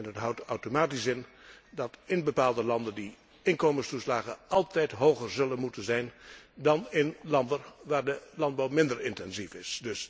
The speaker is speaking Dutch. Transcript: En dat houdt automatisch in dat in bepaalde landen de inkomenstoeslagen altijd hoger zullen moeten zijn dan in landen waar de landbouw minder intensief is.